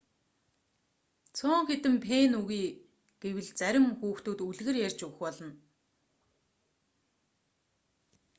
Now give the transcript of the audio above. цөөн хэдэн пенни өгье гэвэл зарим хүүхдүүд үлгэр ярьж өгөх болно